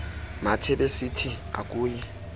mathe besithi akuyi